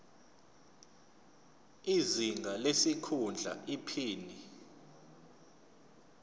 izinga lesikhundla iphini